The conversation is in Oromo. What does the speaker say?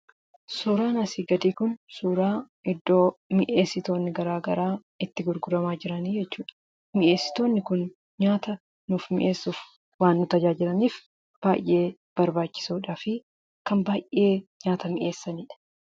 Suuraan asiin gadii Kun suura mi'eessitoonni garagaraa itti gurguraman jechuudha. Mi'eessitoonni Kun nyaataa mi'eessuuf waan nu gargaaraniif baay'ee barbaachisoo fi baay'ee nyaata kan mi'eessanidha.